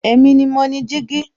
Èmi ni mo ni jígí